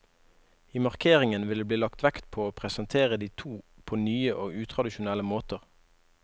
I markeringen vil det bli lagt vekt på å presentere de to på nye og utradisjonelle måter.